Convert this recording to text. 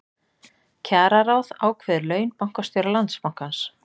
Kjararáð ákveður laun bankastjóra Landsbankans